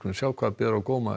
sjá hvað á góma